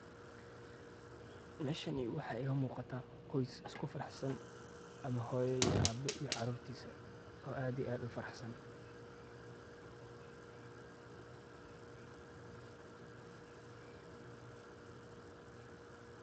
Meshani wxa iga muqata qoys iskufaraxsan ama hoyo iyo Abe iyo carurtisa oo ad iyo ad u faraxsan.